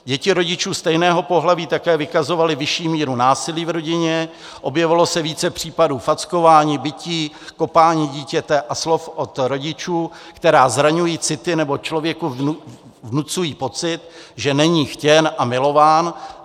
Děti rodičů stejného pohlaví také vykazovaly vyšší míru násilí v rodině, objevilo se více případů fackování, bití, kopání dítěte a slov od rodičů, která zraňují city nebo člověku vnucují pocit, že není chtěn a milován.